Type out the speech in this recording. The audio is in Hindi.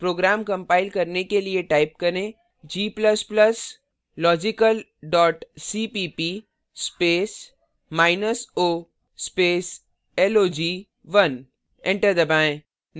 program compile करने के लिए type करें g ++ logical cpp space minus o space log1 enter दबाएँ